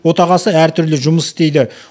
отағасы әр түрлі жұмыс істейді